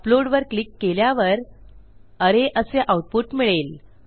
upload वर click केल्यावर अरे असे आऊटपुट मिळेल